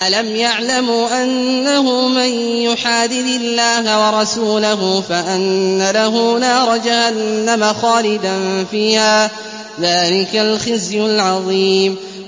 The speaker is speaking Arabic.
أَلَمْ يَعْلَمُوا أَنَّهُ مَن يُحَادِدِ اللَّهَ وَرَسُولَهُ فَأَنَّ لَهُ نَارَ جَهَنَّمَ خَالِدًا فِيهَا ۚ ذَٰلِكَ الْخِزْيُ الْعَظِيمُ